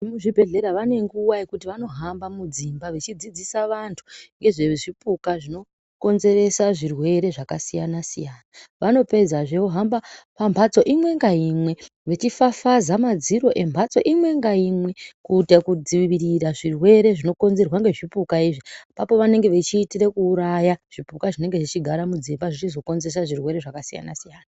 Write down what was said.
Vemuzvibhedhlera vane nguwa yekuti vanohamba mudzimba veidzidzisa vantu ngezvezvipuka zvinokonzeresa zvirwere zvakasiyana siyana. Vanopedzazve vohamba pambatso imwe ngaimwe vachifafaza madziro embatso imwe ngaimwe kuita kudzvirira zvirwere zvinokonzerwa ngezvipuka izvi ipapo vanenge vechitire kuuraya zvipuka zvinenge zvechigara mudzimba zvinenenge zvechizokonzera zvirwere zvakasiyana siyana.